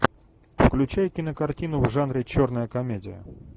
включай кинокартину в жанре черная комедия